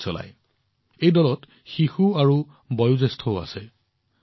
এই গোটটোত শিশু আৰু বৃদ্ধ সকলো আছে